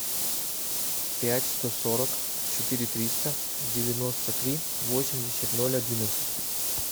пять сто сорок четыре триста девяносто три восемьдесят ноль одиннадцать